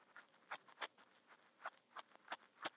Sera, hvaða vikudagur er í dag?